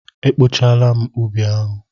E kpochaala m ubi ahụ.